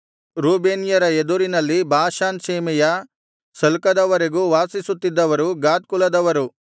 ರೂಬೇನ್ಯರ ಎದುರಿನಲ್ಲಿ ಬಾಷಾನ್ ಸೀಮೆಯ ಸಲ್ಕದವರೆಗೂ ವಾಸಿಸುತ್ತಿದ್ದವರು ಗಾದ್ ಕುಲದವರು